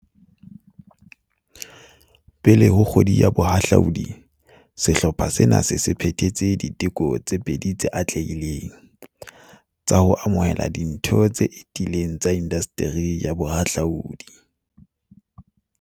Pele ho Kgwedi ya Boha hlaudi, sehlopha sena se se phethetse diteko tse pedi tse atlehileng, tsa ho amohela ditho tse etileng tsa indasteri ya bohahlaudi.